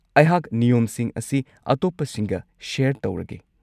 ꯑꯩꯍꯥꯛ ꯅꯤꯌꯣꯝꯁꯤꯡ ꯑꯁꯤ ꯑꯇꯣꯞꯄꯁꯤꯡꯒ ꯁꯦꯌꯔ ꯇꯧꯔꯒꯦ꯫